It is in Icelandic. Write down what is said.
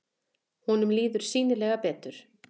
Honum líður sýnilega betur.